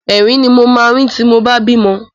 Ẹ̀rín ni mo máa rín tí mo bá bímọ.